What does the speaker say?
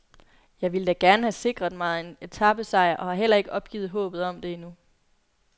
Jeg ville da gerne have sikret mig en etapesejr og har heller ikke opgivet håbet om det endnu.